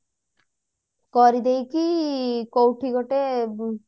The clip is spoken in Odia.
କରିଦେଇକି କୋଉଠି ଗୋଟେ